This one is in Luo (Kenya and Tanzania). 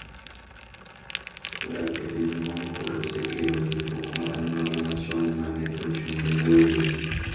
Odak e pinje mamoko osekelo ketruok mar anyuola machon ma ne ochung’ne gwenge.